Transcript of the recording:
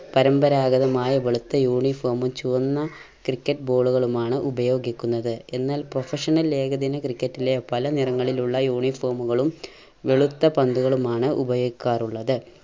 പാരമ്പരാഗതമായ വെളുത്ത uniform ഉം ചുവന്ന cricket ball കളുമാണ് ഉപയോഗിക്കുന്നത്. എന്നാൽ professional ഏകദിന ക്രിക്കറ്റിലെ പല നിറങ്ങളിലുള്ള uniform കളും വെളുത്ത പന്തുകളുമാണ് ഉപയോഗിക്കാറുള്ളത്.